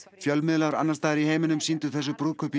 fjölmiðlar annars staðar í heiminum sýndu þessu brúðkaupi